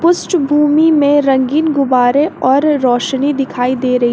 पृष्ठभूमि में रंगीन गुब्बारे और रोशनी दिखाई दे रही--